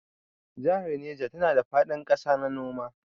Jahar Neja na da faɗin ƙasa na noma.